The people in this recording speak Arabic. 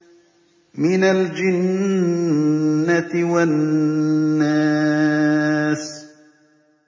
مِنَ الْجِنَّةِ وَالنَّاسِ